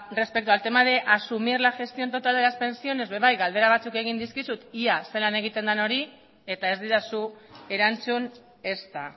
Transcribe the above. respecto al tema de asumir la gestión total de las pensiones galdera batzuk egin dizkizut ea zelan egiten den hori eta ez didazu erantzun ezta